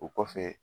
O kɔfɛ